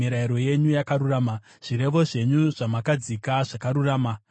Zvirevo zvenyu zvamakadzika zvakarurama; zvakavimbika kwazvo.